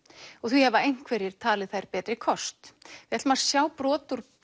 og því hafa einhverjir talið þær betri kost við ætlum að sjá brot úr